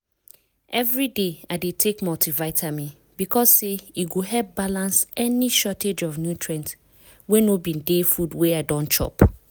everyday i dey take multivitamin because say e go help balance any shortage of nutrients wey no bin dey food wey i don chop.